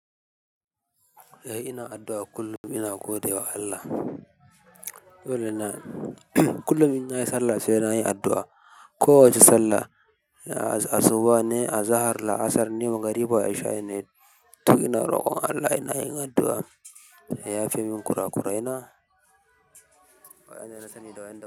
Eh ina addu'a kullum ina gode wa Allah. Dole na kullum inna yi sallah sai na yi addu'a. Kowace sallah asuba ne azahar laasarne magriba ishai ne du ina roƙon allah ya yafe min ƙura kuraina wa ƴanna sani da wanda.